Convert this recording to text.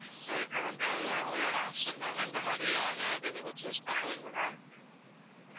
so இப்ப வந்து உங்களோட option ma'am எந்த மாதிரியான இது நீங்க choose பண்றிங்க ma'am